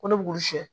Ko ne b'olu sɛ